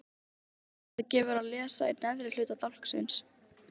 Þetta gefur að lesa í neðra hluta dálksins